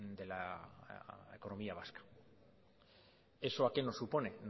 de la economía vasca eso a qué nos supone